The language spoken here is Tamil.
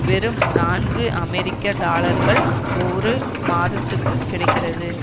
வெறும் நான்கு அமெரிக்க டாலர்கள் ஒரு மாதத்துக்குக் கிடைக்கிறது